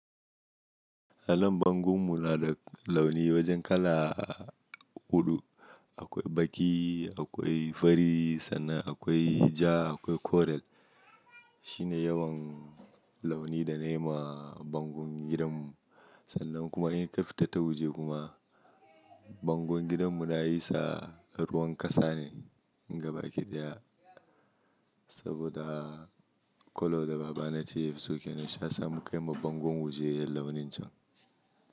Allon bangon mu na da launi wajen kala huɗu. Akwai baƙi, akwai fari sannan akwai ja akwai kore Shine yawan launi da na yi ma bangon gidan mu. Sannan kuma in ka fita ta waje kuma, bangon gidan mu na yi sa ruwan kasa ne ga baki da ya. Saboda colour da baba nace yafi so, kenan shi yasa mun kai ma bangon waje launin can.